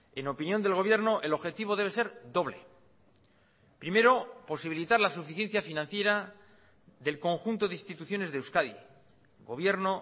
en opinión del gobierno el objetivo debe ser doble primero posibilitar la suficiencia financiera del conjunto de instituciones de euskadi gobierno